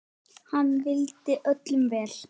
Hann vildi öllum vel.